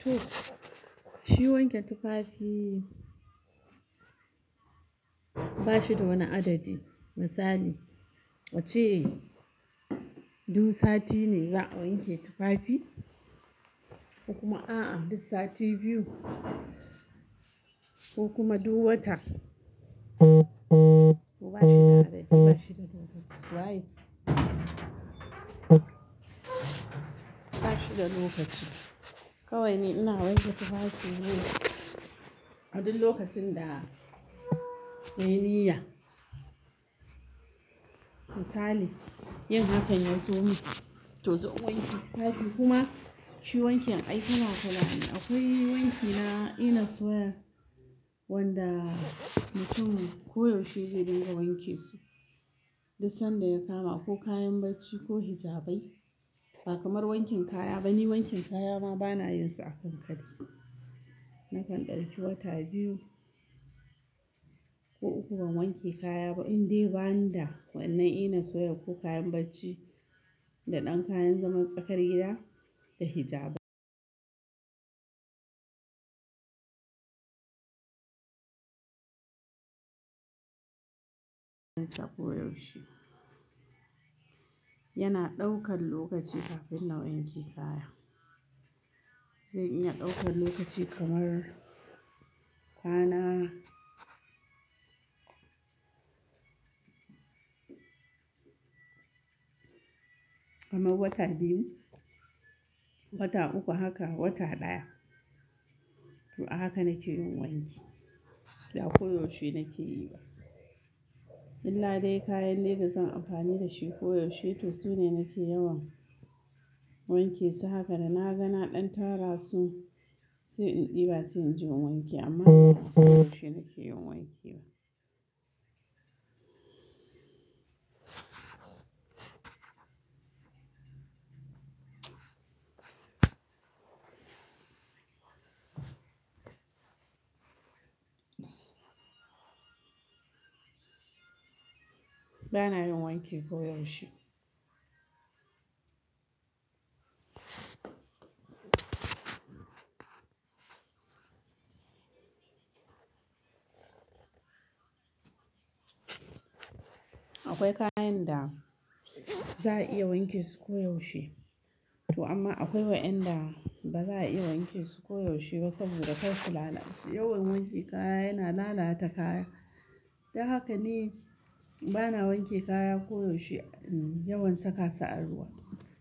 To, shi wanke tufafi ba shi da wani adadi. Misali, wacce duk sati ne za'a wanke tufafi, ko kuma a'a duk sati biyu ko kuma duk wata. Ba shi da adadi, ba shi da lokaci. Wa ye? Ba shi da lokaci. Kawai ni ina wanke tufafina a duk lokacin da nayi niyya. Misali, yin hakan yazo min to zan wanke tufafi kuma shi wanke aikin makullali. Akwai wanki na inna soya wanda mutum koyaushe zai dinga wanke su duk sanda ya kama ko kayan bacci ko hijabai ba kamar wankin kaya ba. Ni wankin kaya ma bana yinsa a kankare. Nakan ɗauki wata biyu ko uku ban wanke kaya ba in dai bani da wannan ina soya ko kayan bacci da ɗan kayan zaman tsakar gida da hijabai. Koyaushe yana ɗaukan lokaci kafin na wanke kaya. Zai iya ɗaukan lokaci kamar bana kamar wata biyu, wata uku haka wata ɗaya. To a haka nake yin wanki ba koyaushe nake yi ba. Illa dai kayan da zan amfani da shi koyaushe to su ne nake yawan wanke su. Haka da na gana ɗan tara su sai in ɗiba sai in je wanke amma ba koyaushe nake yin wanki ba. Ba yana yin wanki koyaushe. Akwai kayan da za a iya wanke su koyaushe to amma akwai wayanda ba za a iya wanke su koyaushe ba saboda kai sulallace. Yawan wanke kaya yana lalata kaya. Don haka ni bana wanke kaya koyaushe, yawan saka su a ruwa.